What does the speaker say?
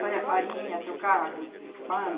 Fazia farinha, trocava com pano.